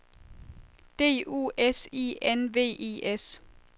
D U S I N V I S